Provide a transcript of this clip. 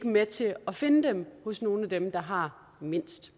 med til at finde dem hos nogle af dem der har mindst